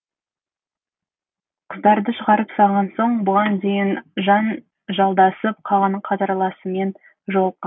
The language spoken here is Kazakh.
қыздарды шығарып салған соң бұған дейін жанжалдасып қалған қатарласымен жолыққан